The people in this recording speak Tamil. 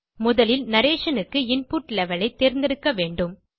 முதலில் narrationக்கு இன்புட் லெவல் ஐ தேர்ந்தெடுக்க வேண்டும்